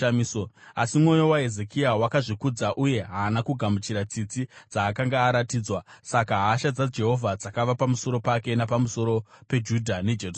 Asi mwoyo waHezekia wakazvikudza uye haana kugamuchira tsitsi dzaakanga aratidzwa. Saka hasha dzaJehovha dzakava pamusoro pake napamusoro peJudha neJerusarema.